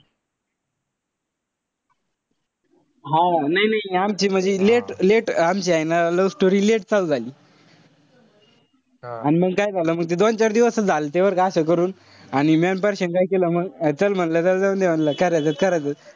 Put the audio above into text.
हा नाई नाई आमची म्हणजे late-late आमची love story late चालू झाली. अन मंग काय झालं ते दोन चार दिवस झालते बरं का असं करून. आणि म्या अन परश्या काय केलं मग चल म्हणलं जाऊन दे म्हणलं करायचंच. करायचाच.